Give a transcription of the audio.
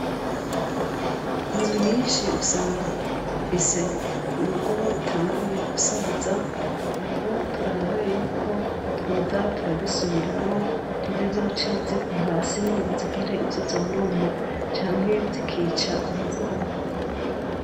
Inzu nyisnhi usanga zifise urugo rutanguye gusaza, rero turabe yuko twoza turazisubiramwo, ntizizoce zigwa hasi ngo zigire ivyo zonona canke zikica abazibamwo.